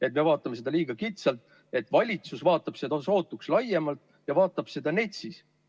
Et meie vaatame seda liiga kitsalt, valitsus vaatab sootuks laiemalt ja vaatab seda NETS-is.